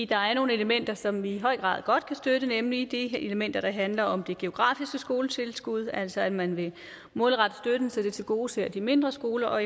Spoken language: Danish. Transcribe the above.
der er nogle elementer som vi i høj grad godt kan støtte nemlig de elementer der handler om det geografiske skoletilskud altså at man vil målrette støtten så den tilgodeser de mindre skoler og